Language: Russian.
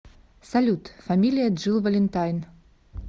салют фамилия джилл валентайн